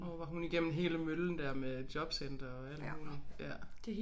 Åh var hun igennem hele møllen der med jobcenter og alt muligt ja